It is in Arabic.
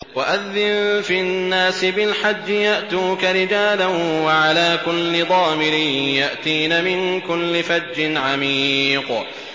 وَأَذِّن فِي النَّاسِ بِالْحَجِّ يَأْتُوكَ رِجَالًا وَعَلَىٰ كُلِّ ضَامِرٍ يَأْتِينَ مِن كُلِّ فَجٍّ عَمِيقٍ